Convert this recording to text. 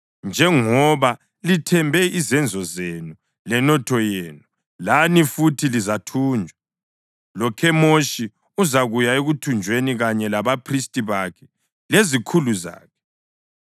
Njengoba lithembe izenzo zenu lenotho yenu, lani futhi lizathunjwa, loKhemoshi uzakuya ekuthunjweni, kanye labaphristi bakhe lezikhulu zakhe.